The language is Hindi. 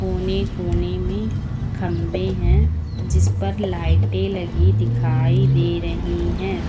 कोने कोने में खंभे हैं जिस पर लाइटें लगी दिखाई दे रही हैं।